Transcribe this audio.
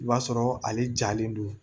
I b'a sɔrɔ ale jalen don